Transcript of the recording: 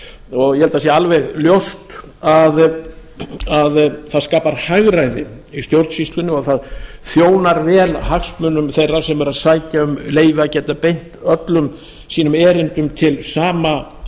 og ég held að það sé alveg ljóst að það skapar hagræði í stjórnsýslunni og það þjónar vel hagsmunum þeirra sem eru að sækja um leyfi að geta beint öllum sínum erindum til sama